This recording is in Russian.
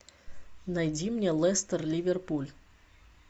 найди мне лестер ливерпуль